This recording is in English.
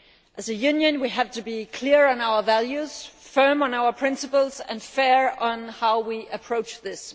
As a Union, we have to be clear on our values, firm on our principles and fair on how we approach this.